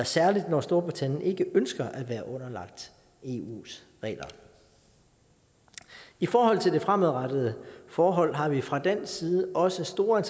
særlig når storbritannien ikke ønsker at være underlagt eus regler i i forhold til det fremadrettede forhold har vi fra dansk side også store